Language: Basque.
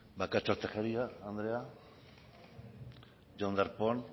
bakartxo tejeria andrea jon darpón